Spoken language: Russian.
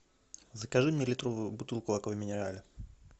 закажи мне литровую бутылку аква минерале